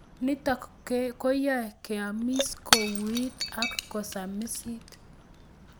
Nitok koyae keamis kouit ak kosamisit